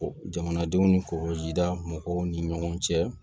Jamanadenw ni kɔkɔjida mɔgɔw ni ɲɔgɔn cɛ